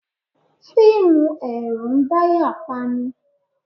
Fíìmù ẹ̀rù ń dáyà pani.